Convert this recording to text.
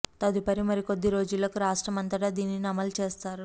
తదుపరి మరి కొద్ది రోజులకు రాష్ట్రం అంతటా దీనిని అమలు చేస్తారు